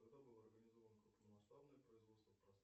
когда было организовано крупномасштабное производство